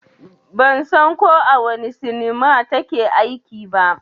Ban san ko a wane sinima ta ke aiki ba